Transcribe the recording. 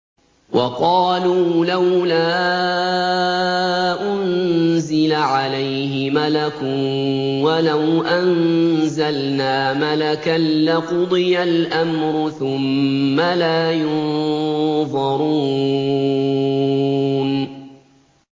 وَقَالُوا لَوْلَا أُنزِلَ عَلَيْهِ مَلَكٌ ۖ وَلَوْ أَنزَلْنَا مَلَكًا لَّقُضِيَ الْأَمْرُ ثُمَّ لَا يُنظَرُونَ